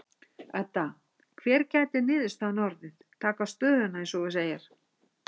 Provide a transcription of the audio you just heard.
Edda: Hver gæti niðurstaðan orðið, taka stöðuna eins og þú segir?